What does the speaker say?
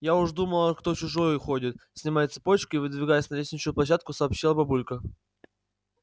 я уж думала кто чужой ходит снимая цепочку и выдвигаясь на лестничную площадку сообщила бабулька